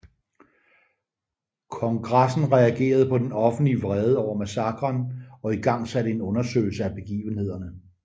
Kongressen reagerede på den offentlig vrede over massakren og igangsatte en undersøgelse af begivenhederne